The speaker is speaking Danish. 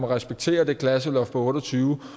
respektere det klasseloft på otte og tyve